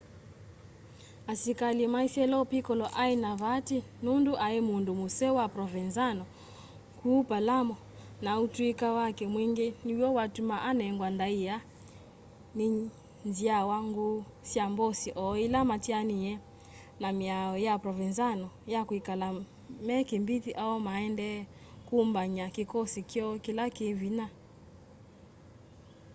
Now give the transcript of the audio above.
asikali maisye lo piccolo ai na vaati nundu ai mundu museo wa provenzano kuu palermo na utuika wake mwingi niw'o watuma anengwa ndaia ni nzyawa nguu sya mbosi o ila matianie na miao ya provenzano ya kwikala me kimbithi o maendee kumbany'a kikosi kyoo kila ki vinya